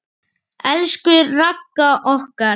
Elsku Ragga okkar.